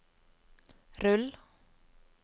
rull